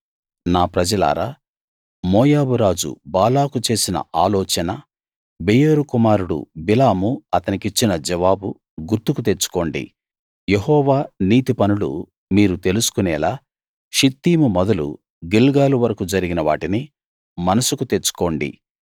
నా ప్రజలారా మోయాబురాజు బాలాకు చేసిన ఆలోచన బెయోరు కుమారుడు బిలాము అతనికిచ్చిన జవాబు గుర్తుకు తెచ్చుకోండి యెహోవా నీతి పనులు మీరు తెలుసుకునేలా షిత్తీము మొదలు గిల్గాలు వరకూ జరిగిన వాటిని మనసుకు తెచ్చుకోండి